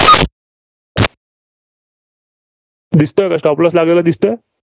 दिसतोय का? Stop loss लागलेला दिसतोय?